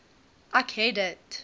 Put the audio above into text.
ek het dit